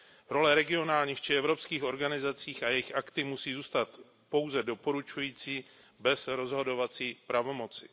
Role regionálních či evropských organizací a jejich akty musí zůstat pouze doporučující, bez rozhodovacích pravomocí.